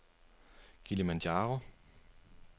Kilimanjaro